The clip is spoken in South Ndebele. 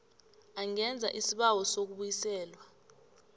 angenza isibawo sokubuyiselwa